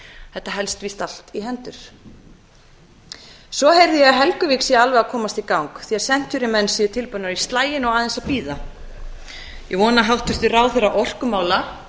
þetta helst víst allt í hendur svo heyrði ég að helguvík sé alveg að komast í gang því að century menn séu tilbúnir í slaginn og aðeins að bíða ég vona að hæstvirtur ráðherra orkumála